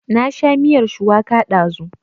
Na sha miyar shuwaka ɗazu